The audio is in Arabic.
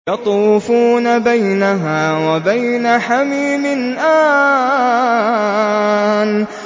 يَطُوفُونَ بَيْنَهَا وَبَيْنَ حَمِيمٍ آنٍ